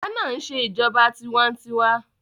Ghana ń ṣe ìjọba tiwa-n-tiwa